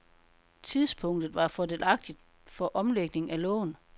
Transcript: Tidspunktet var fordelagtigt for omlægning af lån.